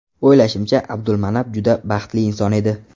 O‘ylashimcha, Abdulmanap juda baxtli inson edi.